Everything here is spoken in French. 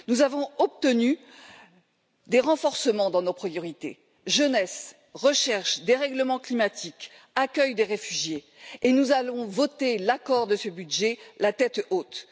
Nous avons obtenu des renforcements dans nos priorités jeunesse, recherche, dérèglement climatique, accueil des réfugiés, et nous allons voter l'approbation de ce budget la tête haute.